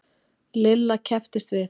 Lilla kepptist við.